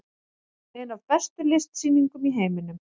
Ein af bestu listsýningum í heiminum